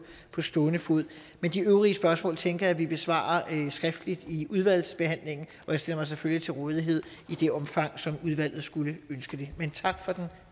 på stående fod men de øvrige spørgsmål tænker jeg at vi besvarer skriftlig i udvalgsbehandlingen og jeg stiller mig selvfølgelig til rådighed i det omfang som udvalget skulle ønske det men tak for den